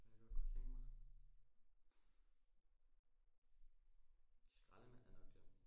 Hvad jeg godt kunne tænke mig? Skaldemand er nok det